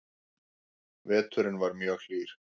Veturinn var mjög hlýr